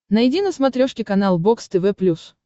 найди на смотрешке канал бокс тв плюс